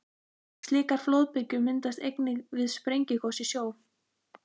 Slíkar flóðbylgjur myndast einnig við sprengigos í sjó.